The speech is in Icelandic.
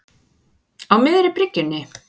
Á miðri bryggjunni.